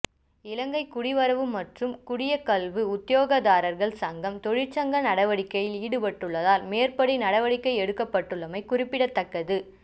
இலங்கை குடிவரவு மற்றும் குடியகல்வு உத்தியோகத்தர்கள் சங்கம் தொழிற்சங்க நடவடிக்கையில் ஈடுபட்டுள்ளதால் மேற்படி நடவடிக்கை எடுக்கப்பட்டுள்ளமை குறிப்பிடத்தக்கது